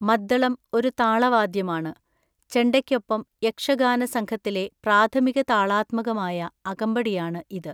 മദ്ദളം ഒരു താളവാദ്യമാണ്, ചെണ്ടയ്ക്കൊപ്പം യക്ഷഗാന സംഘത്തിലെ പ്രാഥമിക താളാത്മകമായ അകമ്പടിയാണ് ഇത്.